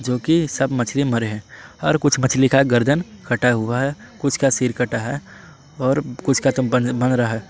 जोकि सब मछली मरे हैं और कुछ मछली का गर्दन कटा हुआ है कुछ का सिर कटा है और कुछ का बन रहा है।